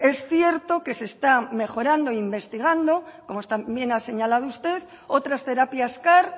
es cierto que se está mejorando e investigando como también ha señalado usted otras terapias car